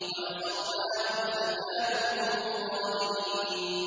وَنَصَرْنَاهُمْ فَكَانُوا هُمُ الْغَالِبِينَ